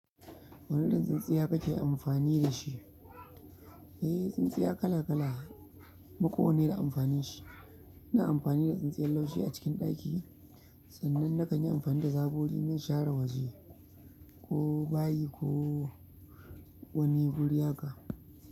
Wane irin tsintsiya kake amfani da shi? Eh, tsintsiya kala kala kuma kowanne da amfanin shi. Ina amfani da tsintsiyar laushi a cikin ɗaki, sannan na kanyi amfani da zagogi inzan share waje ko bayi ko wani guri haka.